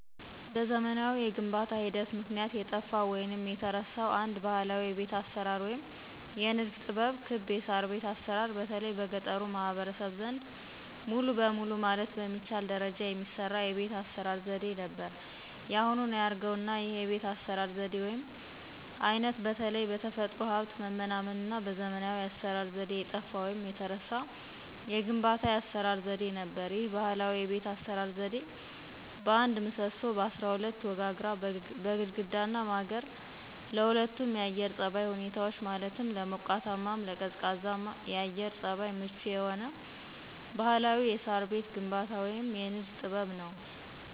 በዘመናዊ የግንባታ ሂደት ምክንያት የጠፋው ወይንም የተረሳው አንድ ባህላዊ የቤት አሰራር ወይም የንድፍ ጥበብ ክብ የሳርቤት አሰራር በተለይ በገጠሩ ማህበረሰብ ዘንድ ሙሉ በሙሉ ማለት በሚቻል ደረጃ የሚሰራ የቤት አስራ ዘዴ ነበር ያሁኑን አያርገውና ይህ የቤት አሰራር ዘዴ ወይም አይነት በተለይ በተፈጥሮ ሀብት መመናመንና በዘመናዊ የአሰራር ዘዴ የጠፋ ወይንም የተረሳ የግንባታ የአሰራር ዘዴ ነበር። ይህ ባህላዊ የቤት አሰራር ዘዴ በአንድ ምሰሶ፣ በአስራ ሁለት ወጋግራ፣ በግድግዳና ማገር ለሁለቱም የአየር ፀባይ ሁኔታዎች ማለትም ለሞቃታማም ለቀዝቃዛም የአየር ፀባይ ምቹ የሆነ ባህላዊ የሳር ቤት ግንባታ ወይም የንድፈ ጥበብ ነው።